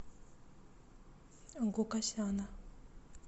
гукасяна